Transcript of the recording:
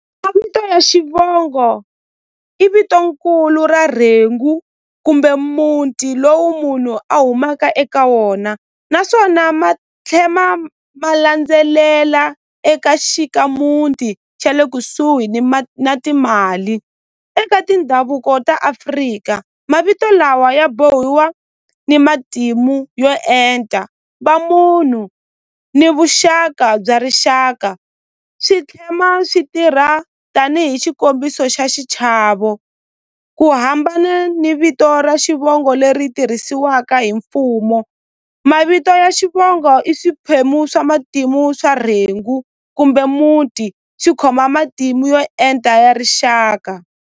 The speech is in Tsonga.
Mavito ya xivongo i vito nkulu ra rhengu kumbe muti lowu munhu a humaka eka wona naswona ma tlhe ma ma landzelela eka xikamuti xa le kusuhi ni na timali eka tindhavuko ta Afrika mavito lawa ya bohiwa ni matimu yo enta va munhu ni vuxaka bya rixaka swi swi tirha tanihi xikombiso xa xichavo ku hambana ni vito ra xivongo leri tirhisiwaka hi mfumo mavito ya xivongo i swiphemu swa matimu swa rhengu kumbe muti xi khoma matimu yo enta ya rixaka.